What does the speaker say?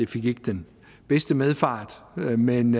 fik den bedste medfart men